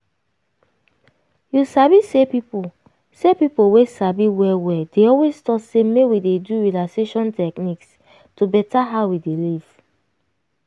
you sabi say people say people wey sabi well well dey always talk say make we dey do relaxation techniques to beta how we dey live.